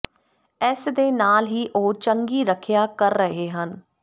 ਇਸ ਦੇ ਨਾਲ ਹੀ ਉਹ ਚੰਗੀ ਰੱਖਿਆ ਕਰ ਰਹੇ ਹਨ